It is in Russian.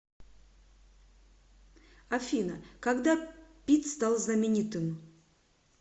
афина когда питт стал знаменитым